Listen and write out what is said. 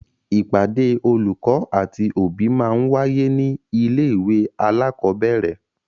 Ìpàdé olùkọ́ àti òbí máa ń wáyé ní ilé ìwé alakọ̀bẹ́ẹ́rẹ̀